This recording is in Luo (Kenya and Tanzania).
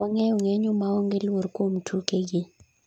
wang'eyo ng'eny u ma onge luor kuom tuke gi